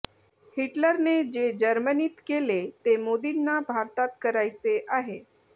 हिटलरने जे जर्मनीत केले ते मोदींना भारतात करायचे आहे